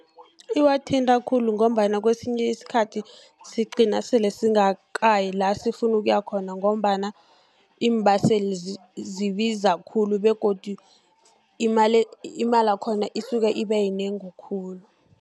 Iwathinta khulu, ngombana kesinye isikhathi sigcina sele singakayi lasifuna ukuya khona, ngombana iimbaseli zibiza khulu, begodu imali yakhona isuke ibe yinengi khulu.